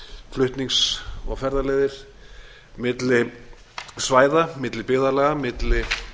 flutnings og ferðaleiðir milli svæða milli byggðarlaga milli